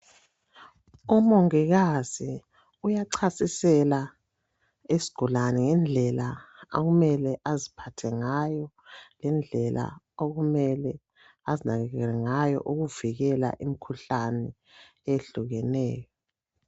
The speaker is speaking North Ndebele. Umongikazi uyachasisela isigulane indlela okumele aziphathe ngayo lendlela okumele azinakekele ngayo ukuvikela imikhuhlane eyehlukeneyo.